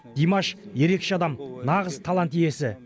димаш ерекше адам нағыз талант иесі